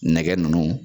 Nɛgɛ nunnu